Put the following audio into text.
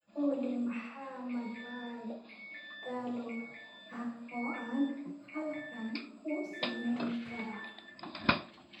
olly maxaa madadaalo ah oo aan halkan ku samayn karaa